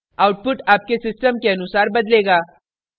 output आपके system के अनुसार बदलेगा